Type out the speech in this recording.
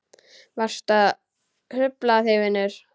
Varstu að hrufla þig vinur?